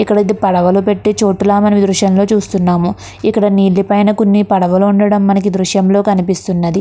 ఇక్కడైతే పడవలు పెట్టే చోటు లా మనమీ దృశ్యంలో చూస్తున్నాము. ఇక్కడ నీటి పైన కొన్ని పడవలు ఉండడం మనకి దృశ్యంలో కనిపిస్తున్నది.